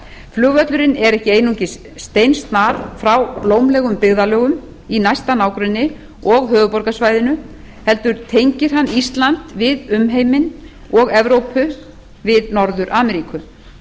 flugvöllurinn er ekki einungis steinsnar frá blómlegum byggðarlögum í næsta nágrenni og höfuðborgarsvæðinu hefur tengir hann ísland við umheiminn og evrópu við norður ameríku